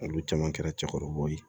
Olu caman kɛra cɛkɔrɔbaw ye